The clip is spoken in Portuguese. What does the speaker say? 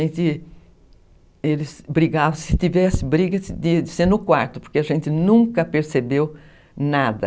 Eles brigavam, se tivesse briga, de ser no quarto, porque a gente nunca percebeu nada.